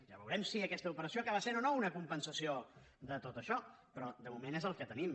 ja veurem si aquesta operació acaba sent o no una compensació de tot això però de moment és el que tenim